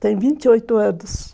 Tem vinte e oito anos.